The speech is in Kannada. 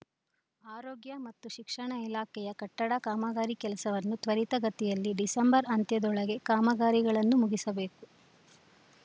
ಆರೋಗ್ಯ ಮತ್ತು ಶಿಕ್ಷಣ ಇಲಾಖೆಯ ಕಟ್ಟಡ ಕಾಮಗಾರಿ ಕೆಲಸವನ್ನು ತ್ವರಿತ ಗತಿಯಲ್ಲಿ ಡಿಸೆಂಬರ್‌ ಅಂತ್ಯದೊಳಗೆ ಕಾಮಗಾರಿಗಳನ್ನು ಮುಗಿಸಬೇಕು